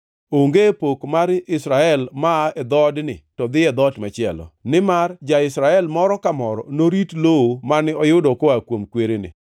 Onge pok mar Israel maa e dhoodni to dhi e dhoot machielo, nimar ja-Israel moro ka moro norit lowo mane oyudo koa kuom kwerene.